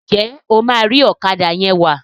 njé o ma ri Ọ̀kadà yén wá?